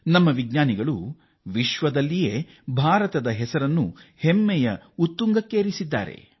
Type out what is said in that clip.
ನಮ್ಮ ವಿಜ್ಞಾನಿಗಳು ಇಡೀ ವಿಶ್ವದಲ್ಲಿಯೇ ಭಾರತದ ಹೆಸರನ್ನು ಉತ್ತುಂಗಕ್ಕೆ ಏರಿಸಿದ್ದಾರೆ